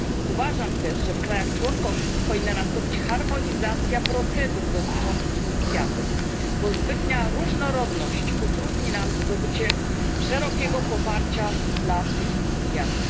Uważam też, że w krajach członkowskich powinna nastąpić harmonizacja procedur dotyczących inicjatyw, bo zbytnia ich różnorodność utrudni nam zdobycie szerokiego poparcia dla tych inicjatyw.